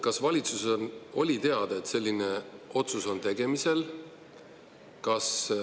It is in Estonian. Kas valitsusel oli teada, et selline otsus oli tegemisel?